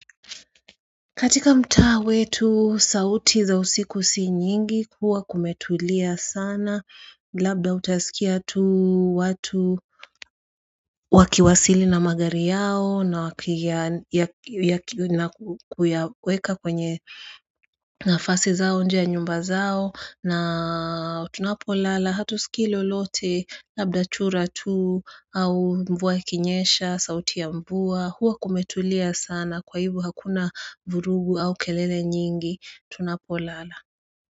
Katika mtaa wetu sauti za usiku si nyingi huwa kumetulia sana labda utasikia tu watu wakiwasili na magari yao na wakiya nakuyaweka kwenye nafasi zao inje ya nyumba zao na tunapo lala hatu siki lolote labda chura tu au mvua ikinyesha sauti ya mvua huwa kumetulia sana kwa hivyo hakuna vurugu au kelele nyingi tunapolala.